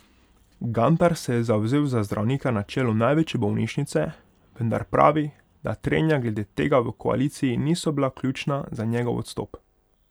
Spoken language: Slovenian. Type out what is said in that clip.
Gantar se je zavzel za zdravnika na čelu največje bolnišnice, vendar pravi, da trenja glede tega v koaliciji niso bila ključna za njegov odstop.